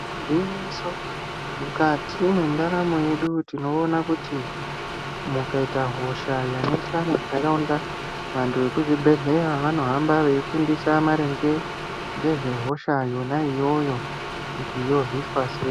Gwinyiso mukati mwendaramo yedu tinoona kuti mukaita hosha yanetsa mundaraunda vantu vekuzvibhedhleya vanohamba veifundisa maringe ngezve hosha yona iyoyo kuti yorwisa sei.